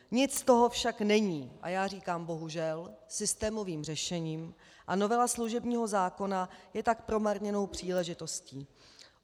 Nic z toho však není, a já říkám, bohužel, systémovým řešením, a novela služebního zákona je tak promarněnou příležitostí.